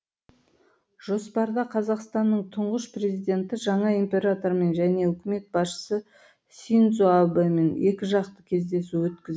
жоспарда қазақстанның тұңғыш президенті жаңа императормен және үкімет басшысы синдзо абэмен екіжақты кездесу өткіз